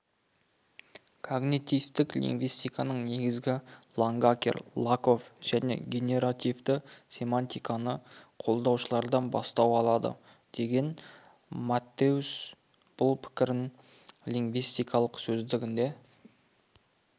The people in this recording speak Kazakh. когнитивтік лингвистиканың негізі лангакер лакофф және генеративті семантиканы қолдаушылардан бастау алады деген маттеус бұл пікірін лингвистикалық сөздігінде